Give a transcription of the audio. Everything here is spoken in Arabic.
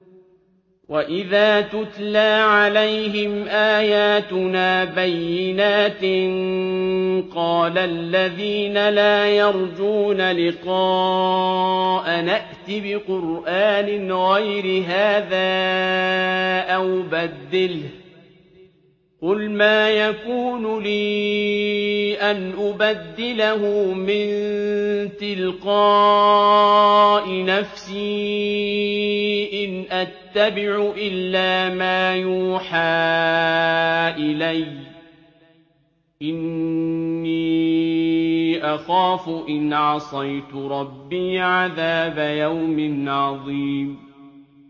وَإِذَا تُتْلَىٰ عَلَيْهِمْ آيَاتُنَا بَيِّنَاتٍ ۙ قَالَ الَّذِينَ لَا يَرْجُونَ لِقَاءَنَا ائْتِ بِقُرْآنٍ غَيْرِ هَٰذَا أَوْ بَدِّلْهُ ۚ قُلْ مَا يَكُونُ لِي أَنْ أُبَدِّلَهُ مِن تِلْقَاءِ نَفْسِي ۖ إِنْ أَتَّبِعُ إِلَّا مَا يُوحَىٰ إِلَيَّ ۖ إِنِّي أَخَافُ إِنْ عَصَيْتُ رَبِّي عَذَابَ يَوْمٍ عَظِيمٍ